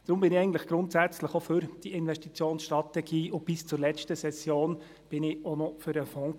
Darum bin ich grundsätzlich auch für diese Investitionsstrategie, und bis zur letzten Session war ich auch noch für den Fonds.